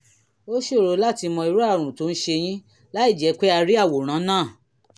ó ṣòro láti mọ irú àrùn tó ń ṣe yín láìjẹ́ pé a rí àwòrán náà